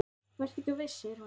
Vertu ekki of viss, segir hún.